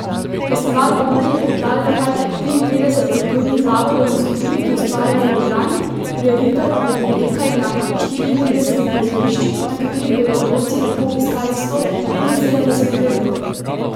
Festival Bobri je pripravilo kar triinpetdeset kulturnih zavodov in skupin, ki ustvarjajo v Ljubljani, prireditve pa bodo potekale na štiriintridesetih prizoriščih, na katerih bodo otroci lahko obiskali sto petinsedemdeset prireditev.